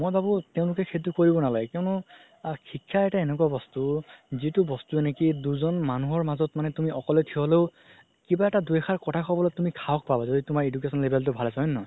মই ভাবো তেওলোকে সেইটো কৰিব নালাগে কিয়নো আ শিক্ষা এটা এনেকুৱা বস্তু যিতো বস্তুয়ে নেকি দুজন মানুহৰ মাজত মানে অকলে থিয় হ'লেও কিবা এটা দুই আসাৰ কথা ক'বলৈ সাহস পাবা যদি তুমাৰ education level তো ভাল আছে হয় নে নহয়